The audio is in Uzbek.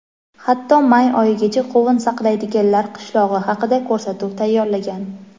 hatto may oyigacha qovun saqlaydiganlar qishlog‘i haqida ko‘rsatuv tayyorlagan.